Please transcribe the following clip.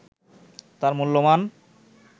তার মূল্যমান